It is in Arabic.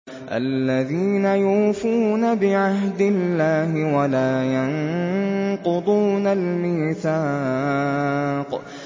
الَّذِينَ يُوفُونَ بِعَهْدِ اللَّهِ وَلَا يَنقُضُونَ الْمِيثَاقَ